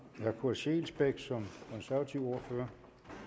herre kurt scheelsbeck som konservativ ordfører